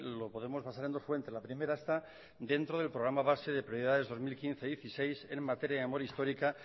lo podemos basar en dos fuentes la primera está dentro del programa base de prioridades dos mil quince dos mil dieciséis en materia de memoria histórica